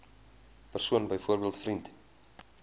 persoon byvoorbeeld vriend